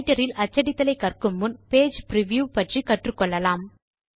writer இல் அச்சடித்தல் ஐ கற்கும் முன் பேஜ் பிரிவ்யூ பற்றி தெரிந்து கொள்ளலாம்